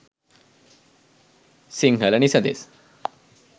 sinhala nisades